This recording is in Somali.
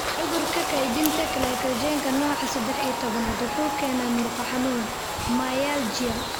Cudurka kaydinta glycogenka nooca sedex iyo tobnaad wuxuu keenaa murqo xanuun (myalgia).